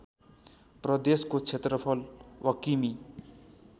प्रदेशको क्षेत्रफल वकिमि